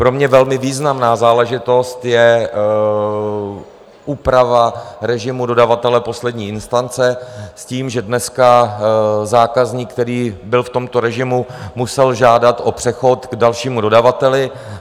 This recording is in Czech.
Pro mě velmi významnou záležitostí je úprava režimu dodavatele poslední instance s tím, že dneska zákazník, který byl v tomto režimu, musel žádat o přechod k dalšímu dodavateli.